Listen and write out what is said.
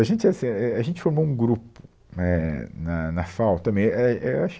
A gente assim, é é, a gente formou um grupo né, na na FAU, também, é, é eu acho